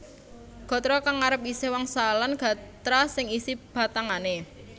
Gatra kang ngarep isi wangsalan gatra sing isi batangané